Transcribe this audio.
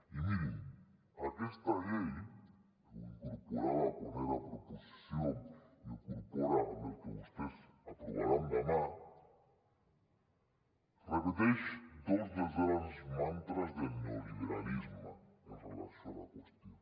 i mirin aquesta llei ho incorporava quan era proposició i ho incorpora amb el que vostès aprovaran demà repeteix dos dels grans mantres del neoliberalisme en relació amb la qüestió